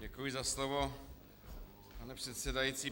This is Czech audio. Děkuji za slovo, pane předsedající.